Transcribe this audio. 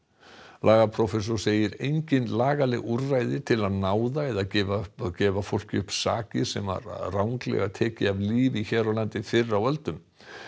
lagaprófessor segir engin lagaleg úrræði til að náða eða gefa gefa fólki upp sakir sem ranglega var tekið af lífi hér á landi fyrr á öldum